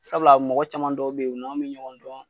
Sabula a mɔgɔ caman dɔw be ye u n'an' bi ɲɔgɔn dɔn